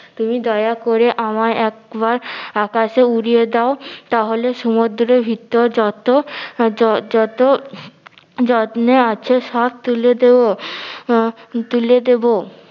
তুমি দয়া করে আমায় একবার আহ আকাশে উড়িয়ে দাও তাহলে সমুদ্রের ভিতর যত যত যত্নে আছে সব তুলে দেব আহ তুলে দেব